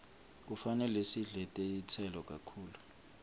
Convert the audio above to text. kufanele sidle netitselo kakhulu